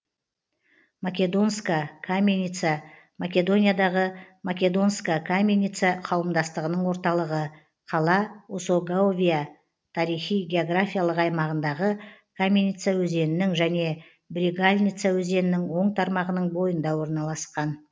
македонска каменица македониядағы македонска каменица қауымдастығының орталығы қала осоговия тарихи географиялық аймағындағы каменица өзенінің және брегалница өзенінің оң тармағының бойында орналасқан